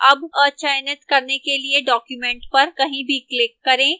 अब अचयनित करने के लिए document पर कहीं भी click करें